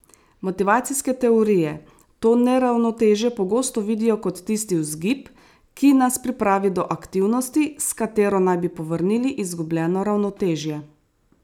Motivacijske teorije to neravnotežje pogosto vidijo kot tisti vzgib, ki nas pripravi do aktivnosti, s katero naj bi povrnili izgubljeno ravnotežje.